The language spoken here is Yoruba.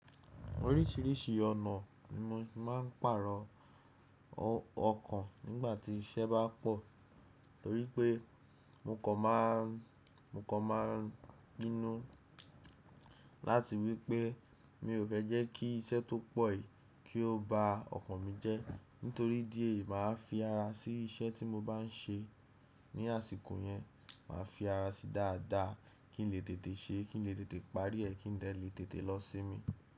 Orísìírísìí ọ̀nà ni mo ti máà ń pàrọ̀ ọkàn nígbà tí iṣẹ́ bá pọ̀ torí pé mo kàn máa ń pinnu láti wípé mi ò fẹ́ jẹ́ kí iṣẹ́ tó pọ̀ yìí kí ó ba ọkàn mi jẹ́. Nítorí idi eyi máà fi ara sí iṣẹ́ tí mo bá n ṣe ní àsìkò yẹn, màá fi ara sí dáadáa kí n lè tètè ṣe é, kí n lè tètè parí ẹ kí n lè tètè lọ́ sí mi.